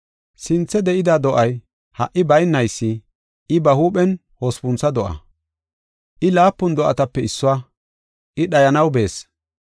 Sinthe de7ida do7ay, ha77i baynaysi, I ba huuphen hospuntho do7aa. I laapun do7atape issuwa; I dhayanaw bees.